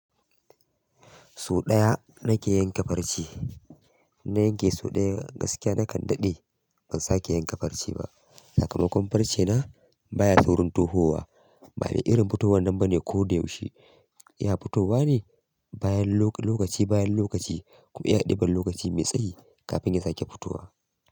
So ɗaya nake yanke farce, in na yanke so ɗaya gaskiya nakan daɗe ban sake yanke farce ba. Sakamakon farce na baya saurin tohowa, ba maii irin fitowar nan bane ko da yaushe. Iya fitowa ne bayan lokaci bayan lokaci kuma yana ɗiban lokaci mai tsayi kafin ya sake fitowa.